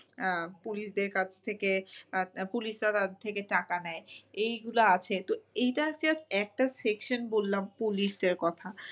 আহ police দের কাছ থেকে police তাদের থেকে টাকা নেয়। এইগুলা আছে তো এইটা just একটা section বললাম police দের কথা।